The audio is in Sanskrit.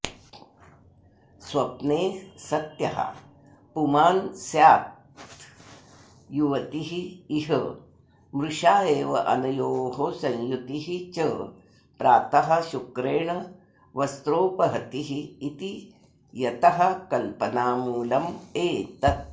स्वप्ने सत्यः पुमान्स्याद्युवतिरिह मृषैवानयोः संयुतिश्च प्रातः शुक्रेण वस्त्रोपहतिरिति यतः कल्पनामूलमेतत्